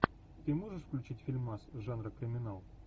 ты можешь включить фильмас жанра криминал